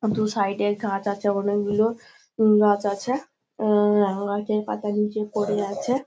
দু সাইড -এ গাছ আছে অনেক গুলো গাছ আছে এ-এ গাছের পাতা নীচে পড়ে আছে--